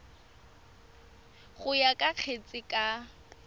go ya ka kgetse ka